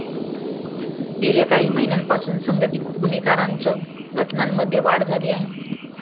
गेल्या काही महिन्यांपासून संघटीत गुन्हेगारीच्या घटनांमध्ये वाढ झाली आहे.